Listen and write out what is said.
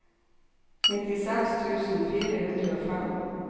nittiseks tusen fire hundre og fem